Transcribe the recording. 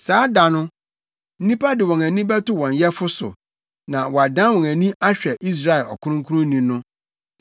Saa da no, nnipa de wɔn ani bɛto wɔn Yɛfo so na wɔadan wɔn ani ahwɛ Israel Ɔkronkronni no.